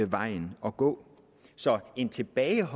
vejen at gå så en tilbagelænet